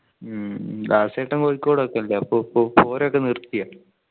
ഉം ദാസേട്ടൻ കോഴിക്കോട് ഒക്കെ ഉണ്ടോ ഇപ്പോ പ്പോ ഓരോക്കെ നിർത്തിയാ